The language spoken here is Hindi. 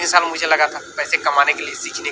ये सब मुझे लगा था पैसे कमाने के लिए सीखने--